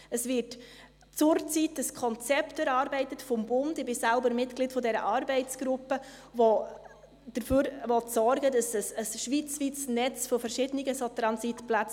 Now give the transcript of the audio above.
Es wird zurzeit vom Bund ein Konzept erarbeitet – ich selbst bin Mitglied dieser Arbeitsgruppe –, mit dem Ziel eines schweizweiten Netzes solcher Transitplätze.